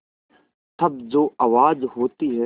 तब जो आवाज़ होती है